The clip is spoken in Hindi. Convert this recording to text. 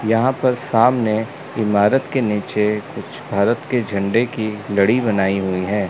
यहां पर सामने इमारत के नीचे कुछ भारत के झंडे की लड़ी बनाई हुई है।